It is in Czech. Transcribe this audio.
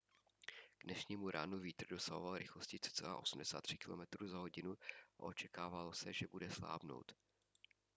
k dnešnímu ránu vítr dosahoval rychlosti cca 83 km/h a očekávalo se že bude slábnout